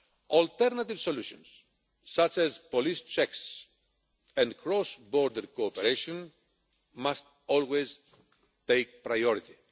Alternative solutions, such as police checks and cross border cooperation must always take priority.